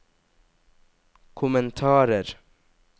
kommentarer